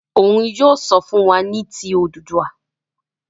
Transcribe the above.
Òún yóò sọ fún wá ní tí Odùduwa.